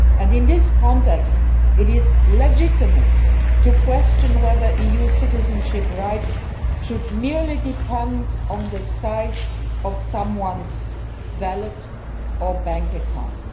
In this context it is legitimate to question whether EU citizenship rights should merely depend on the size of someone's wallet or bank account.